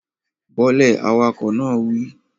Bọ́ lẹ̀, awakọ̀ náà wí